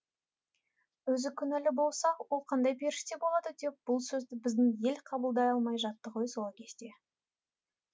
өзі күнәлі болса ол қандай періште болады деп бұл сөзді біздің ел қабылдай алмай жатты ғой сол кезде